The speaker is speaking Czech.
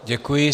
Děkuji.